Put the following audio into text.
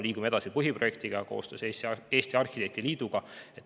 Praegu me liigume põhiprojektiga edasi koostöös Eesti Arhitektide Liiduga.